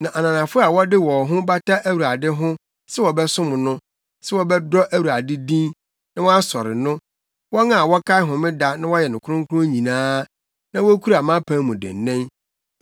Na ananafo a wɔde wɔn ho bata Awurade ho sɛ wɔbɛsom no, sɛ wɔbɛdɔ Awurade din, na wɔasɔre no, wɔn a wɔkae Homeda na wɔyɛ no kronkron nyinaa na wokura mʼapam mu dennen,